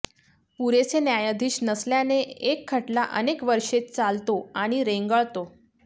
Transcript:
पुरेसे न्यायाधीश नसल्याने एक खटला अनेक वष्रे चालतो आणि रेंगाळतो